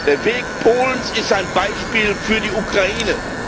Der Weg Polens ist ein Beispiel für die Ukraine.